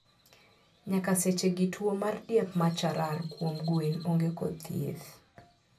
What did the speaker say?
Nyaka sechegi tuo mar diep macharar kuom gwen onge kod thieth